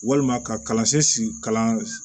Walima ka kalansen si kalan